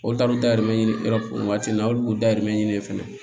Olu taal'u dayɛlɛ o waati la olu b'u dayirimɛ ɲini fana